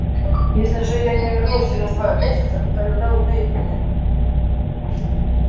если же я не вернусь через два месяца тогда убейте меня